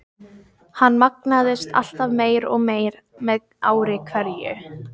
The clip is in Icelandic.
Hann magnaðist alltaf meir og meir með ári hverju.